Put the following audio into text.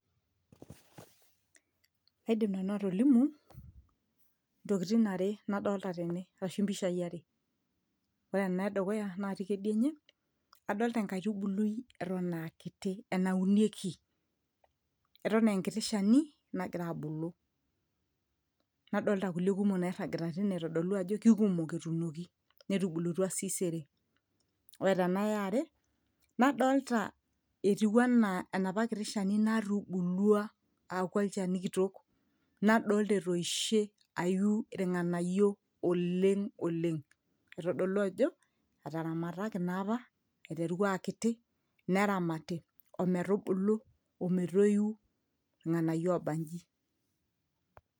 aidim nanu atolimu intokitin are nadolta tene arashu impishai are ore ena edukuya natii kedianye adolta enkaitubului eton akiti enaunieki eton enkiti shani nagira abulu nadolta kulie kumok nairragita tine aitodolu ajo kikumok etuunoki netubulutua sii sere ore tena yeare nadolta etiu anaa enapa kiti shani natubulua aaku olchani kitok nadolta etoishe ayu irng'anayio oleng oleng aitodolu ajo etaramataki naa apa aiteru aakiti neramati ometubulu ometoiu irng'anayio obanji.